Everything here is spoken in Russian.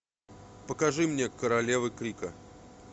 покажи мне королевы крика